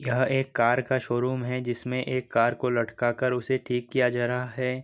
यह एक कार का शोरूम है जिसमें एक कार को लटका कर उसे ठीक किया जा रहा है ।